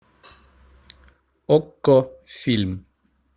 окко фильм